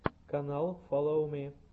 канал фоллоу ми